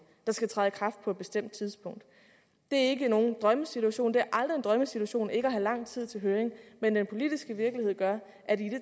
der skal træde i kraft på et bestemt tidspunkt det er ikke nogen drømmesituation det er aldrig en drømmesituation ikke at have lang tid til høring men den politiske virkelighed gør at i